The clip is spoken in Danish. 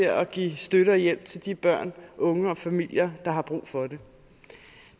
at give støtte og hjælp til de børn unge og familier der har brug for det